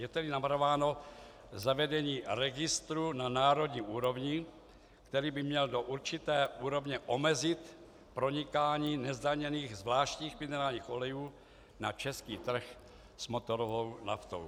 Je tedy navrhováno zavedení registru na národní úrovni, který by měl do určité úrovně omezit pronikání nezdaněných zvláštních minerálních olejů na český trh s motorovou naftou.